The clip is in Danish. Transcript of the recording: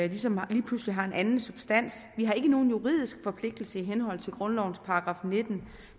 ligesom lige pludselig har en anden substans vi har ikke nogen juridisk forpligtelse i henhold til grundlovens § nitten